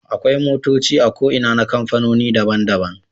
Akwai motoci a ko Ina na kamfanoni daban daban